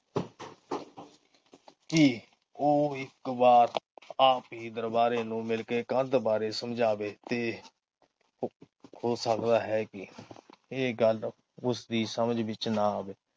ਕੀ ਉਹ ਇਕ ਵਾਰ ਆ ਕੇ ਦਰਬਾਰੇ ਨੂੰ ਮਿਲਕੇ ਕੰਧ ਬਾਰੇ ਸਮਝਾਵੇ ਤੇ ਹੋ ਸਕਦਾ ਹੈ ਕੇ ਇਹ ਗੱਲ ਉਸਦੀ ਸਮਝ ਵਿਚ ਨਾ ਆਵੇ।